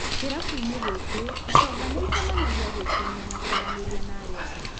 Kĩrabuinĩ gĩkĩ, itonga nĩicemanagia gwĩkenia na kwaranĩria na arĩa angĩ.